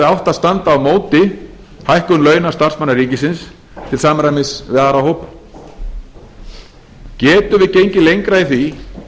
að standa á móti hækkun launa starfsmanna ríkisins til samræmis við aðra hópa getum við gengið lengra í því